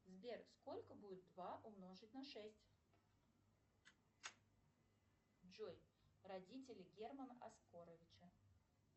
сбер сколько будет два умножить на шесть джой родители германа оскаровича